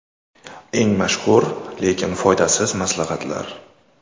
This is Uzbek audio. Eng mashhur, lekin foydasiz maslahatlar.